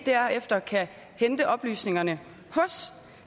derefter kan hente oplysningerne hos